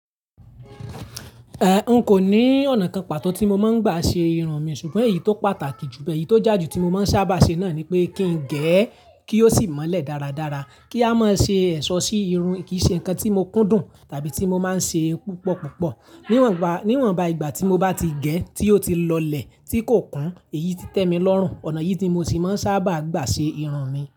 Eh, n kò ní ọ̀nà kan pàtó tí mo máa ń gbà ṣe irun mi ṣùgbọ́n èyí tó pàtàkì jù bẹ́ẹ̀, èyí tó já ju tí mo máa ń sábà ṣe náà ni pé kí n gẹ̀ ẹ́ kí ó sì mọ́lẹ̀ dáradára, kí a má ṣe ẹ̀ṣọ́ sí irun, kì í ṣe nǹkan tí mo kúndùn tàbí tí mo máa ń ṣe púpọ̀púpọ̀. Níwọ̀nba, níwọ̀nba ìgbà tí mo bá ti gẹ̀ ẹ́ tí ó ti lọlẹ̀ tí kò kún, èyí ti tẹ́ mi lọ́rùn. Ọ̀nà yìí tí mo ti máa ń sábà gbà ṣe irun mi.